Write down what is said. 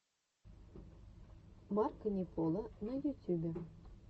марко не поло на ютюбе